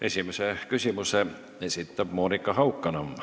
Esimese küsimuse esitab Monika Haukanõmm.